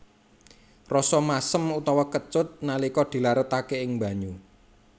Rasa masem utawa kecut nalika dilarutaké ing banyu